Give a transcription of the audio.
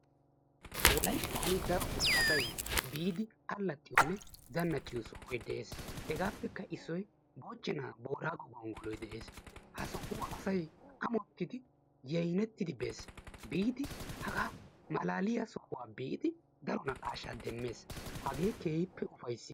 wolayttan darotoo asay biidi allaaxiyoonne zannacciyo sohoy de'ees. hegappekka issoy moochchena boorago gonggoloy de'ees. ha sohuwa asay ammottidi yayyinettidi bees. biidi hagaa malaaliyaa sohuwa be'idi daro naqashsha demmees, hage keehippe ufayssiyaaba.